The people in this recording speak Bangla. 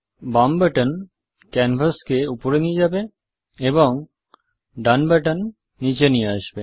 বাম বাটন ক্যানভাসকে উপরে নিয়ে যাবে এবং ডান বাটন নিচে নিয়ে আসবে